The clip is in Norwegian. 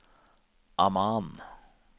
Amman